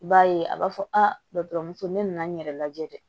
I b'a ye a b'a fɔ a dɔ muso ne nana n yɛrɛ lajɛ dɛ